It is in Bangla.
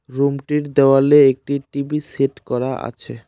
রুম -টির দেওয়ালে একটি টি_ভি সেট করা আছে।